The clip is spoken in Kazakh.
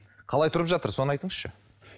қалай тұрып жатыр соны айтыңызшы